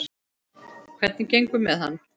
Hvernig gengur með hann?